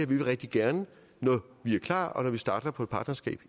vil vi rigtig gerne når vi er klar og når vi igen starter på et partnerskab